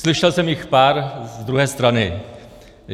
Slyšel jsem jich pár z druhé strany.